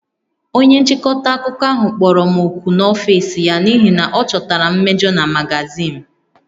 Onye nchịkọta akụkọ ahụ kpọrọ m òkù n'ọfịs ya n'ihi na ọ chọtara mmejọ na magazin m